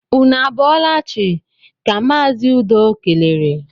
Ụnụ a bọọla chi! ka Mazi Udo kelere